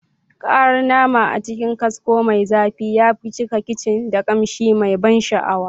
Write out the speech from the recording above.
Karar nama a cikin kasko mai zafi ya cika kicin da kamshi mai ban sha'awa.